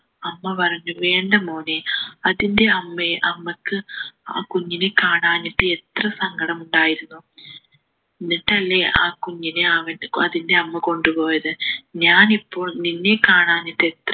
അമ്മ പറഞ്ഞു വേണ്ട മോനെ അതിൻ്റെ അമ്മയെ അമ്മക്ക് ആ കുഞ്ഞിനെ കാണാഞ്ഞിട്ട് എത്ര സങ്കടം ഉണ്ടായിരുന്നു എന്നിട്ട് അല്ലെ ആ കുഞ്ഞിനെ അവനെ അതിൻ്റെ അമ്മ കൊണ്ടുപോയത് ഞാനിപ്പോൾ നിന്നെ കാണാഞ്ഞിട്ട് എത്ര